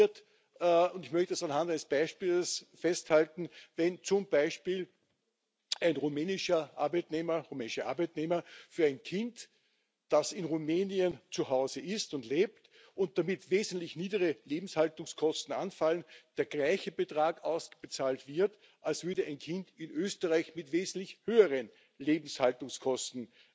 Und das passiert und ich möchte das anhand eines Beispiels festhalten Wenn zum Beispiel einem rumänischen Arbeitnehmer für ein Kind, das in Rumänien zu Hause ist und lebt und für das damit wesentlich niedrigere Lebenshaltungskosten anfallen, der gleiche Betrag ausgezahlt wird, als würde ein Kind in Österreich mit wesentlich höheren Lebenshaltungskosten